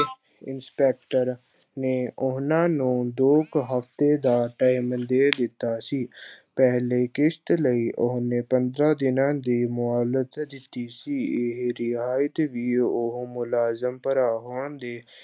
inspector ਨੇ ਉਹਨਾਂ ਨੂੰ ਦੋ ਕੁ ਹਫ਼ਤੇ ਦਾ time ਦੇ ਦਿੱਤਾ ਸੀ ਪਹਿਲੀ ਕਿਸ਼ਤ ਲਈ ਉਹਨੇ ਪੰਦਰਾਂ ਦਿਨਾਂ ਦੀ ਮੁਹਲਤ ਦਿੱਤੀ ਸੀ, ਇਹ ਰਿਆਇਤ ਵੀ ਉਹ ਮੁਲਾਜ਼ਮ ਭਰਾ ਹੋਣ ਦੇ